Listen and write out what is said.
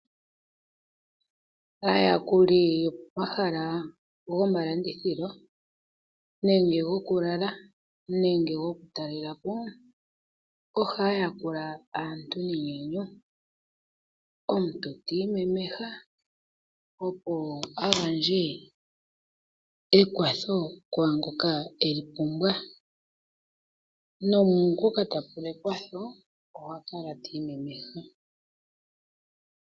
Aayakuli yopomahala gomalandithilo, nenge goku lala nenge goku talela po, ohaya yakula aantu nenyanyu omuntu ta imemeha, opo a gandje ekwatho kwaangoka e li pumbwa naangoka ta pumbwa ekwatho ohakala ta imemeha.